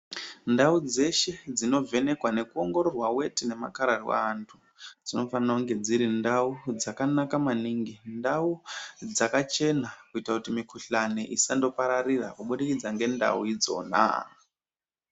Ndau dzeshe dzinovhenekwa nekuongororwa weti nemakararwa aanhu, dzinofanira kunge dziri ndau dzakanaka maningi, ndau dzakachena kuitira kuti mikuhlani isandopararira kuburikidza ngendau idzona.